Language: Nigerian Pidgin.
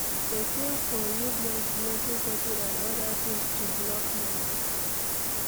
Person for use noise blocking curtain and oda things to block noise